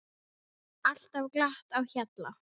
Alltaf glatt á hjalla.